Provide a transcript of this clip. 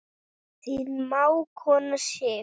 Þín mágkona Sif.